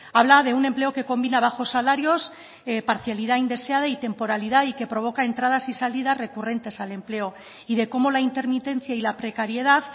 habla de un empleo que combina bajos salarios parcialidad indeseada y temporalidad y que provoca entradas y salidas recurrentes al empleo y de cómo la intermitencia y la precariedad